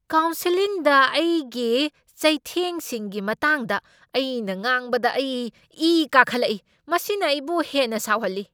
ꯀꯥꯎꯟꯁꯦꯜꯂꯤꯡꯗ ꯑꯩꯒꯤ ꯆꯩꯊꯦꯡꯁꯤꯡꯒꯤ ꯃꯇꯥꯡꯗ ꯑꯩꯅ ꯉꯥꯡꯕꯗ ꯑꯩ ꯏ ꯀꯥꯈꯠꯂꯛꯢ꯫ ꯃꯁꯤꯅ ꯑꯩꯕꯨ ꯍꯦꯟꯅ ꯁꯥꯎꯍꯜꯂꯤ꯫